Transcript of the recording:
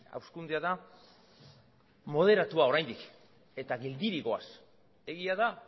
hazkundea da moderatua oraindik eta geldirik goaz egia da